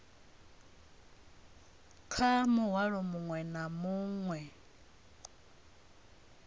kha muhwalo muṅwe na muṅwe